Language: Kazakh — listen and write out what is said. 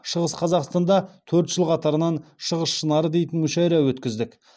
шығыс қазақстанда төрт жыл қатарынан шығыс шынары дейтін мүшайра өткіздік